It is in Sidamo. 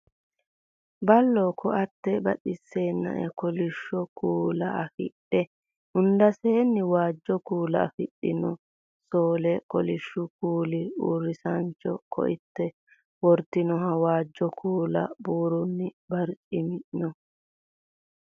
Bulla ko"atte badheseenni kolishsho kuula afidhe hundaseenni waajo kuula afidhino soole kolishshu kuuli usuraanchinna ko"atte worantinohu waajjo kuula buurroonn barcimi no